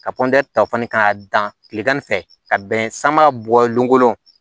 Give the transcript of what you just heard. Ka ta fan ka dan kilegan ni fɛ ka bɛn sanba bɔlen kolo